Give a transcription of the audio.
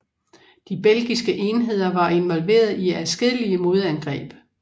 De belgiske enheder var involveret i adskillige modangreb